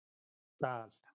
Dal